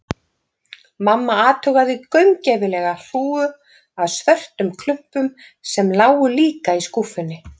Mamma athugaði gaumgæfilega hrúgu af svörtum klumpum, sem lágu líka í skúffunni.